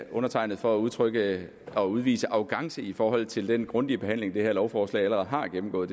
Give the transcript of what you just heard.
undertegnede for at udtrykke og udvise arrogance i forhold til den grundige behandling det her lovforslag allerede har gennemgået